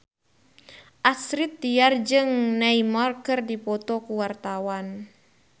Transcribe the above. Astrid Tiar jeung Neymar keur dipoto ku wartawan